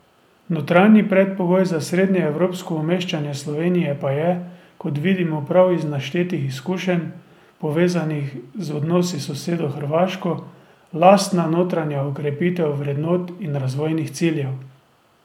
Notranji predpogoj za srednjeevropsko umeščanje Slovenije pa je, kot vidimo prav iz naštetih izkušenj, povezanih z odnosi s sosedo Hrvaško, lastna notranja okrepitev vrednot in razvojnih ciljev.